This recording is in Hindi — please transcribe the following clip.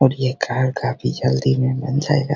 और यह घर काफी जल्दी में बन जाएगा।